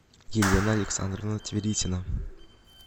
елена александровна тверитина